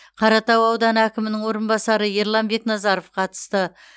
қаратау ауданы әкімінің орынбасары ерлан бекназаров қатысты